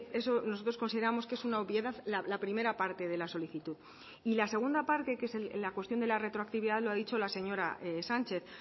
eso nosotros consideramos que es una obviedad la primera parte de la solicitud y la segunda parte que es la cuestión de la retroactividad lo ha dicho la señora sánchez